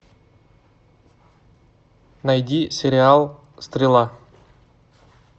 найди сериал стрела